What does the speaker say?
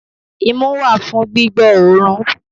Imú wà fún gbígbọ́ òórùn.